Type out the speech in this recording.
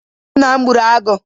Nna m gburu agụ.